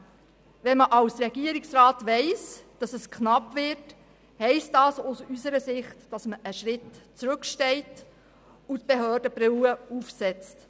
Trotzdem: Wenn man als Regierungsrat weiss, dass es knapp wird, heisst dies aus unserer Sicht, dass man einen Schritt zurücktritt und die «Behörden-Brille» aufsetzt.